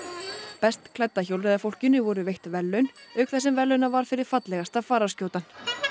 best klædda voru veitt verðlaun auk þess sem verðlaunað var fyrir fallegasta